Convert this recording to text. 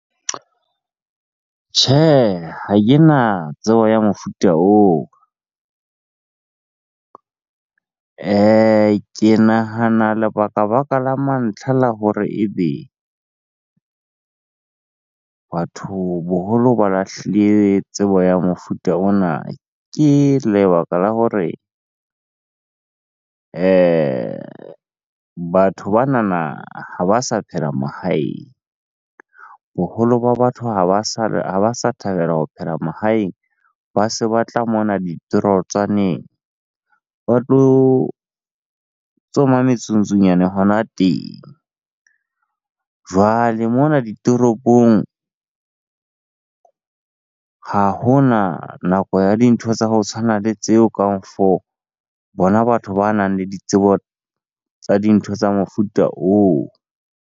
Tjhe, ha kena tsebo ya mofuta oo. Ke nahana lebakabaka la mantlha la hore ebe batho boholo ba lahlile tsebo ya mofuta ona. Ke lebaka la hore batho banana ha ba sa phela mahaeng. Boholo ba batho ha ba sa thabela ho phela mahaeng, ba se ba tla mona ditorotswaneng ba tlo tsoma metsungntsunyane hona teng. Jwale mona ditoropong, ha hona nako ya dintho tsa ho tshwana le tseo bona batho banang le ditsebo tsa dintho tsa mofuta oo.